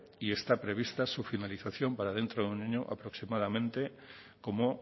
y está prevista su finalización para dentro de un año aproximadamente como